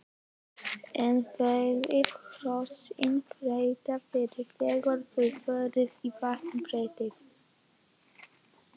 En verða hrossin hrædd fyrst þegar þau fara á vatnsbrettið?